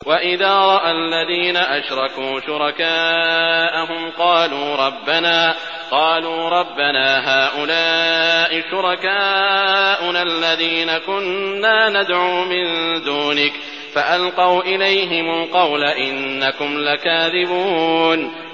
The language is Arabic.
وَإِذَا رَأَى الَّذِينَ أَشْرَكُوا شُرَكَاءَهُمْ قَالُوا رَبَّنَا هَٰؤُلَاءِ شُرَكَاؤُنَا الَّذِينَ كُنَّا نَدْعُو مِن دُونِكَ ۖ فَأَلْقَوْا إِلَيْهِمُ الْقَوْلَ إِنَّكُمْ لَكَاذِبُونَ